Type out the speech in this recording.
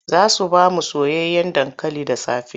Za su ba mu soyayyen dankali da safe.